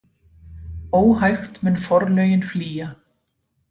Óhægt mun forlögin flýja.